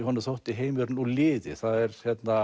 Jóni þótti heimurinn úr liði það er